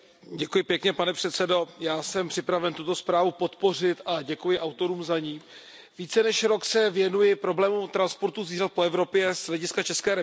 Pane předsedající, já jsem připraven tuto zprávu podpořit a děkuji za ni autorům. Více než rok se věnuji problému transportu zvířat po Evropě z hlediska České republiky.